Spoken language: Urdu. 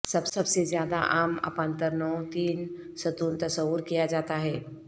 سب سے زیادہ عام اپانترنوں تین ستون تصور کیا جاتا ہے